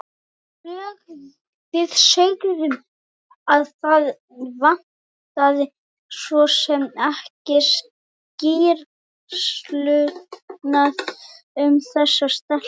Við sögðum að það vantaði svo sem ekki skýrslurnar um þessa telpu.